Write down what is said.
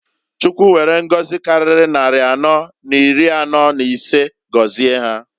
Chukwu were ngozi kariri nnari anọọ n'iri anọọ n'isee gozie ha.